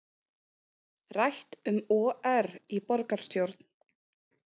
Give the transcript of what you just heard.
Rætt um OR í borgarstjórn